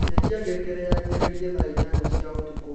cenjĩa ngengere yaanjĩe thaa ĩnyanya cĩa ũtũkũ